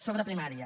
sobre primària